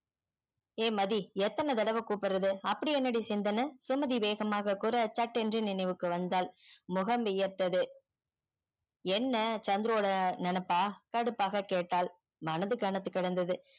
என் மதி எத்தன தடவ குப்ட்றது அப்டி என்ன டி சிந்தனை சுமதி வேகமாக குற சட்டேன்று நினைவுக்கு வந்தால் முகம் வியர்த்தது என்ன சந்துருவோட நெனப்பா கடுப்பாக கேட்டால் மனது கனத்து கிடந்தது